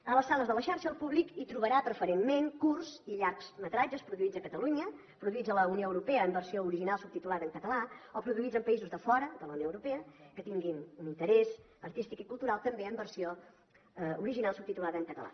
a les sales de la xarxa el públic hi trobarà preferentment curts i llargmetratges produïts a catalunya produïts a la unió europea en versió original subtitulada en català o produïts en països de fora de la unió europea que tinguin un interès artístic i cultural també en versió original subtitulada en català